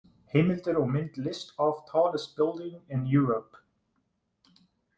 Heimildir og mynd List of tallest buildings in Europe.